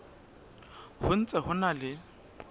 ho ntse ho na le